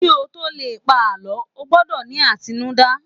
ki o to Le pa àlọ, o gbọdọ ni atinuda